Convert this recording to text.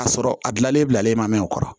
A sɔrɔ a gilanlen bilalen mɛ o kɔrɔ